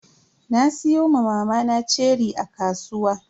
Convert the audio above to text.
Na siyo ma mamana ceri a kasuwa.